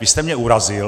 Vy jste mě urazil.